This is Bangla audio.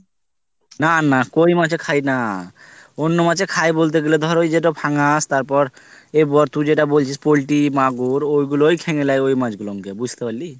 না না কই মাচে খাই না অন্য মাছে খাই বলতে গেলে ধর ওই যেটা ফ্যাংশ তারপর এর পর তুই যেটা বলছিস poultry মাগুর ওই গুলোই খেয়ে লেই ওই মাছ গুলোকে বুঝতেপারলি